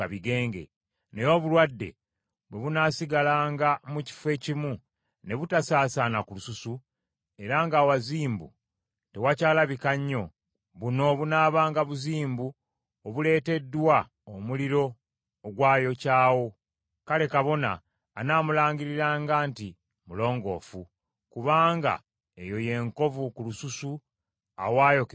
Naye obulwadde bwe bunaasigalanga mu kifo ekimu ne butasaasaana ku lususu, era ng’awazimbu tewakyalabika nnyo, buno bunaabanga buzimbu obuleeteddwa omuliro ogwayokyawo; kale kabona anaamulangiriranga nti mulongoofu; kubanga eyo y’enkovu ku lususu awaayokebwa omuliro.